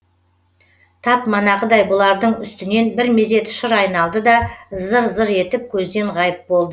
тап манағыдай бұлардың үстінен бір мезет шыр айналды да зыр зыр етіп көзден ғайып болды